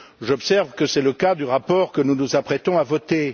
J'observe que c'est le cas du rapport que nous nous apprêtons à voter.